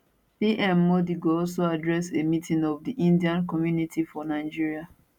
pm modi go also address a meeting of di indian community for nigeria